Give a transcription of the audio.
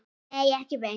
Nei, ekki beint.